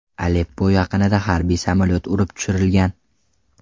Aleppo yaqinida harbiy samolyot urib tushirilgan.